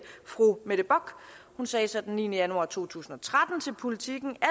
fru mette bock sagde så den niende januar to tusind og tretten til politiken at